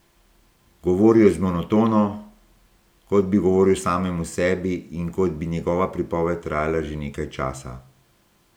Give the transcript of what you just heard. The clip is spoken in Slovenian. Govoril je z monotono, kot bi govoril samemu sebi in kot bi njegova pripoved trajala že nekaj časa.